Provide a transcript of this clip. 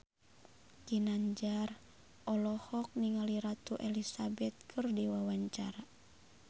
Ginanjar olohok ningali Ratu Elizabeth keur diwawancara